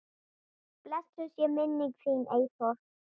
Blessuð sé minning þín, Eyþór.